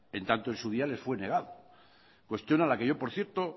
en tanto en su día les fue negado cuestión a la que yo por cierto